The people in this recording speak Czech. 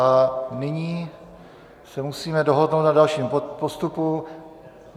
A nyní se musíme dohodnout na dalším postupu.